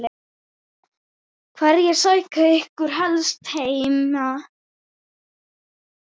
Hverjir sækja ykkur helst heim?